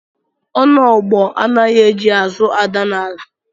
Onogbo anaghị eji azụ ada n'ala